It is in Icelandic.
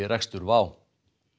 rekstur WOW